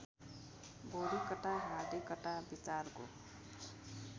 बौद्धिकता हार्दिकता विचारको